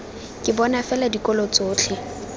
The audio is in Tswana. ke bona fela dikolo tsotlhe